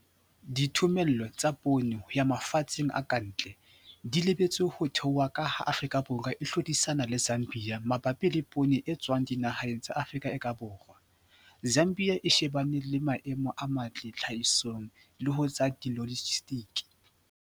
Dithomello tsa poone ho ya mafatsheng a ka ntle di lebelletswe ho theoha ka ha Afrika Borwa e hlodisana le Zambia mabapi le poone e tswang dinaheng tsa Afrika e ka Borwa, Zambia e shebane le maemo a matle tlhahisong le ho tsa dilojisetike.